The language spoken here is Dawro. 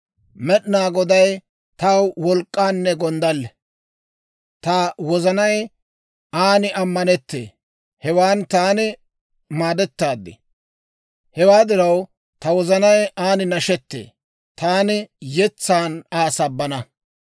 Med'inaa Goday taw wolk'k'anne gonddalle; Ta wozanay an ammanettee; hewan taani maadettaad. Hewaa diraw, ta wozanay an nashettee; taani yetsan Aa sabbana.